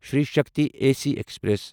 Shri Shakti A C express